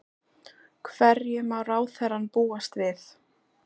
Hverju má ráðherrann búast við?